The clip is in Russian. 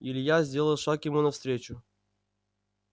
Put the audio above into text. илья сделал шаг ему навстречу